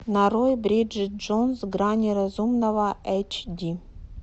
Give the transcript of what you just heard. нарой бриджит джонс грани разумного эйч ди